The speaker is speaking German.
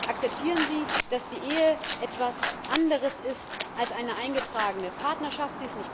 Akzeptieren Sie, dass die Ehe etwas anderes ist als eine eingetragene Partnerschaft.